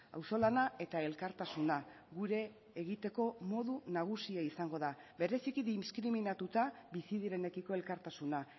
auzolana eta elkartasuna gure egiteko modu nagusia izango da bereziki diskriminatuta bizi direnekiko elkartasuna